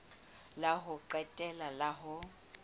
la ho qetela la ho